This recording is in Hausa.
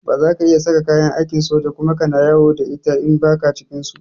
Ba za ka iya saka kayan aikin soja Kuma kana yawo da ita in ba ka cikin su.